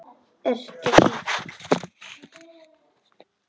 Ertu veik?